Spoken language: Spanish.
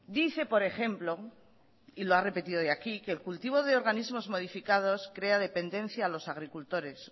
dice por ejemplo y lo ha repetido hoy aquí que el cultivo de organismos modificados crea dependencia a los agricultores